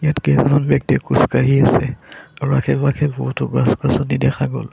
ইয়াত কেইজনমান ব্যক্তিয়ে খোজকাঢ়ি আছে আৰু আশে পাশে বহুতো গছ-গছনি দেখা গ'ল।